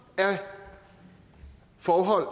af forhold